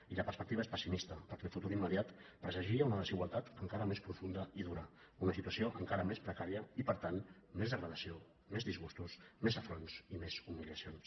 i la perspectiva és pessimis·ta perquè el futur immediat presagia una desigualtat encara més profunda i dura una situació encara més precària i per tant més degradació més disgustos més afronts i més humiliacions